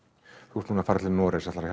þú ert núna að fara til Noregs ætlarðu